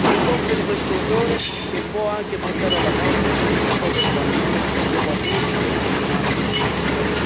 per compiere questo orrore che può anche portare alla morte di queste povere bambine, dopo atroci e interminabili sofferenze.